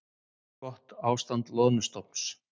Gott ástand loðnustofns